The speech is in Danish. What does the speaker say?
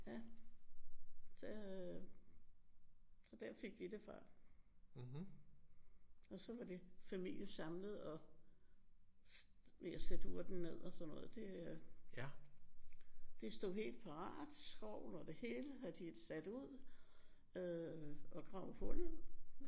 Ja. Så der fik vi det fra og så var det familien samlet og med at sætte urnen ned og sådan noget. Det øh det stod helt parat i skoven og det hele havde de sat ud øh og gravet hullet